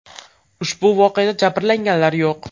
Ushbu voqeada jabrlanganlar yo‘q.